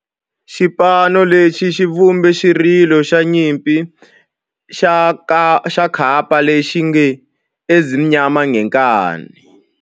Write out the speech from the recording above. Xipano lexi xi vumbe xirilo xa nyimpi xa kampa lexi nge 'Ezimnyama Ngenkani'.